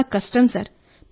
ఇది చాలా కష్టం సార్